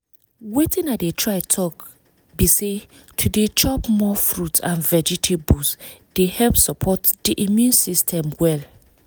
watin i dey try talk be say to dey chop more fruits and vegetables dey help support the immune system well